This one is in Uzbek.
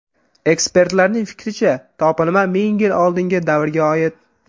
Ekspertlarning fikricha, topilma ming yil oldingi davrga oid.